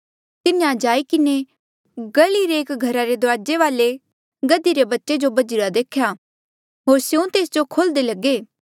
तिन्हें जाई किन्हें गह्ली रे एक घरा रे दुराजे वाले गधी रे बच्चे जो बझिरा देख्या होर स्यों तेस जो खोल्हदे लगे